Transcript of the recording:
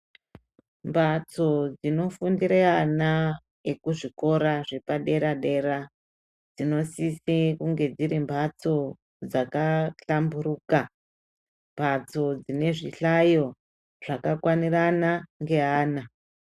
Mbatso dzinofundire ana ekuzvikora zvepadera -dera dzinosise kunge dziri mbatso dzakahlamburuka. Mbatso dzine zvihlayo zvakakwanirana ngeana.